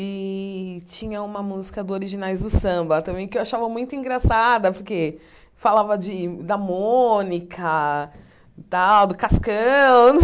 E tinha uma música do Originais do Samba também, que eu achava muito engraçada, porque falava de da Mônica tal, do Cascão.